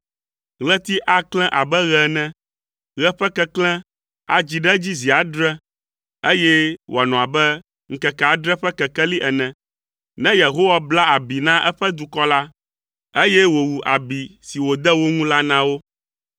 Ɣleti aklẽ abe ɣe ene; Ɣe ƒe keklẽ adzi ɖe edzi zi adre, eye wòanɔ abe ŋkeke adre ƒe kekeli ene, ne Yehowa bla abi na eƒe dukɔ la, eye wòwu abi si wòde wo ŋu la na wo.